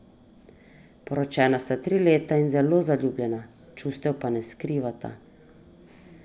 Poročena sta tri leta in zelo zaljubljena, čustev pa ne skrivata.